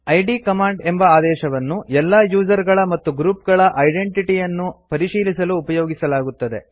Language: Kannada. ಇದ್ ಕಮಾಂಡ್ ಎಂಬ ಆದೇಶವನ್ನು ಎಲ್ಲಾ ಯೂಸರ್ ಗಳ ಮತ್ತು ಗ್ರುಪ್ ಗಳ ಐಡೆಂಟಿಟಿ ಯನ್ನು ಪರಿಶೀಲಿಸಲು ಉಪಯೋಗಿಸಲಾಗುತ್ತದೆ